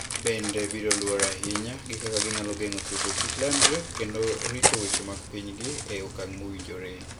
... bende biro luwore ahinya gi kaka ginyalo geng'o tuoche kik landre kendo rito weche mag pinygi e okang ' mowinjore. "